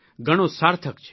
ઘણો સાર્થક છે